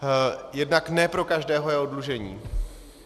Jednak ne pro každého je oddlužení.